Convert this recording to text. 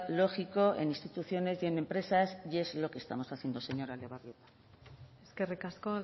lógico en instituciones y en empresas y es lo que estamos haciendo señora etxebarrieta eskerrik asko